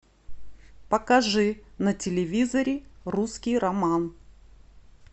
покажи на телевизоре русский роман